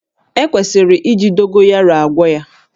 E kwesịrị iji Dogoyaro agwọ ya